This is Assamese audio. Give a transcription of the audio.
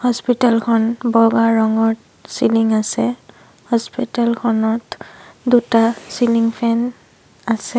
হস্পিতেল খন বগা ৰঙৰ চিলিং আছে হস্পিতেল খনত দুটা চিলিং ফেন আছে।